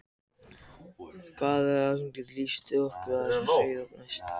Hvað var það, nú geturðu upplýst okkur, hvað var það sem svona sveið mest?